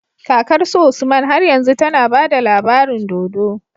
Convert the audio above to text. Kakar su usman har yanzu tAna bada labarin dodo